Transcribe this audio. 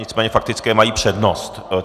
Nicméně faktické mají přednost.